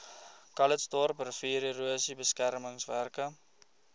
calitzdorp riviererosie beskermingswerke